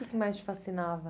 O que que mais te fascinava?